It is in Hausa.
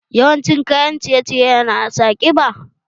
Yawan cin kayan ciye ciye na sa ƙiba?